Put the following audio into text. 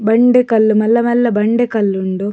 ಬಂಡೆ ಕಲ್ಲ್ ಮಲ್ಲ ಮಲ್ಲ ಬಂಡೆ ಕಲ್ಲ್ ಉಂಡು.